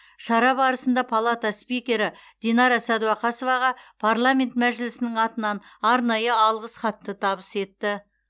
шара барысында палата спикері динара сәдуақасоваға парламент мәжілісінің атынан арнайы алғыс хатты табыс етті